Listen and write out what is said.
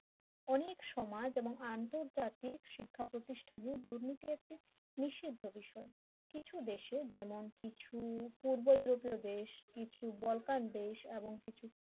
অনেক সমাজ এবং আন্তর্জাতিক শিক্ষা প্রতিষ্ঠানে দুর্নীতি একটি নিষিদ্ধ বিষয় কিছু দেশে যেমন কিছু পূর্ব ইউরোপীয় দেশ কিছু বলকার দেশ এবং কিছু